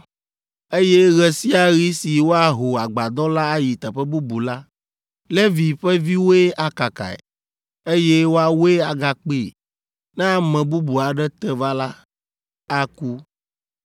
eye ɣe sia ɣi si woaho Agbadɔ la ayi teƒe bubu la, Levi ƒe viwoe akakae, eye woawoe agakpee; ne ame bubu aɖe te va la, aku.